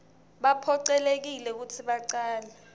baphocelelekile kutsi bacale